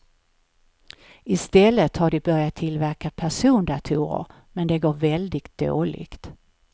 Istället har de börjat tillverka persondatorer men det går väldigt dåligt.